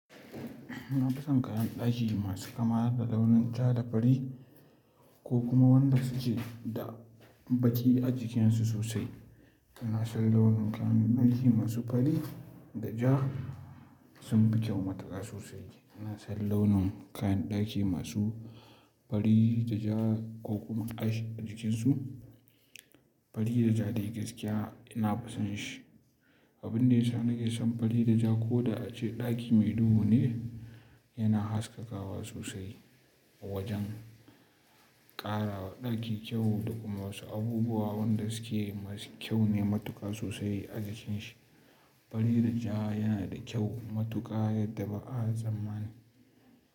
Ina fason kayan ɗaki masu kama da launin ja da fari ko kuma wanda suke da baki a jikinsu sosai. Ina son launin kayan ɗaki masu fari da ja sun bi kyau matuƙa sosai. Ina son launin kayan ɗaki masu fari da ja ko kuma ash a jikinsu. Fari da ja dai gaskiya ina fason shi. Abin da yana make son fari da ja ko da ace ɗaki mai duhu ne yana haskakawa sosai. Wajen ƙarawa ɗaki kyau da kuma wasu abubuwa wanda suke masu kyau ne matuƙa sosai a jikin shi. Fari da ja yana da kyau matuƙa, yadda ba a tsamma ni.